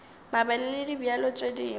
mabele le dibjalo tše dingwe